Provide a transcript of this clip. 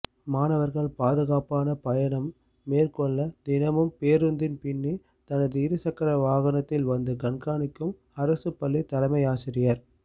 மாணவர்கள் பாதுகாப்பான பயணம் மேற்கொள்ள தினமும் பேருந்தின் பின்னே தனது இருசக்கர வாகனத்தில் வந்து கண்காணிக்கும் அரசுப் பள்ளி தலைமையாசிரியர்